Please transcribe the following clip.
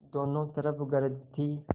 दोनों तरफ गरज थी